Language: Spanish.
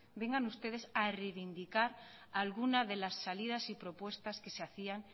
vengan ustedes a reivindicar alguna de las salidas y propuestas que se hacían